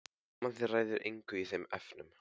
Mamma þín ræður engu í þeim efnum.